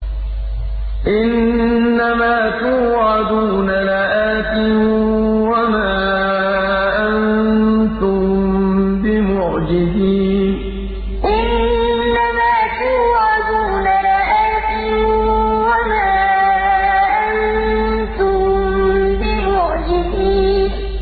إِنَّ مَا تُوعَدُونَ لَآتٍ ۖ وَمَا أَنتُم بِمُعْجِزِينَ إِنَّ مَا تُوعَدُونَ لَآتٍ ۖ وَمَا أَنتُم بِمُعْجِزِينَ